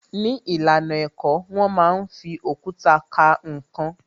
Ní ìlànà ẹ̀kọ́, wón máa ń fi òkúta ka ǹkan